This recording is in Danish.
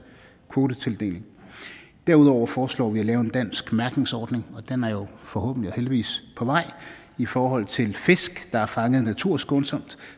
kvotetildeling derudover foreslår vi at lave en dansk mærkningsordning og den er jo forhåbentlig og heldigvis på vej i forhold til fisk der er fanget naturskånsomt